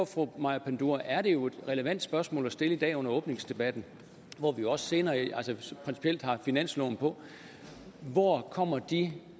fru maja panduro er det jo et relevant spørgsmål at stille i dag under åbningsdebatten hvor vi også senere har finansloven på hvor kommer de